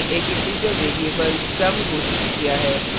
फिर हमने एक इन्टिजर variable sum घोषित किया है